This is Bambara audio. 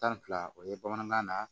Tan ni fila o ye bamanankan na